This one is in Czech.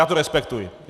Já to respektuji.